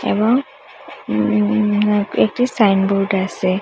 এবং উম একটি সাইনবোর্ড আসে